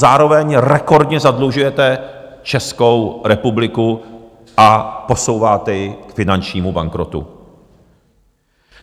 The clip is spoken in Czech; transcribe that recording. Zároveň rekordně zadlužujete Českou republiku a posouváte ji k finančnímu bankrotu.